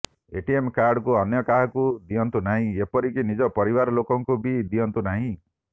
ATM card କୁ ଅନ୍ୟ କାହାକୁ ଦିଅନ୍ତୁ ନାହିଁ ଏପରିକି ନିଜ ପରିବାର ଲୋକଙ୍କୁ ବି ଦିଅନ୍ତୁନାହିଁ